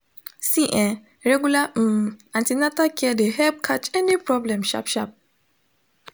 see ehh regular um an ten atal care de help catch any problem sharp sharp